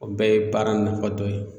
O bɛɛ ye baara in nafa dɔ ye